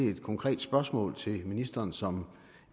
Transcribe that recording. et konkret spørgsmål til ministeren som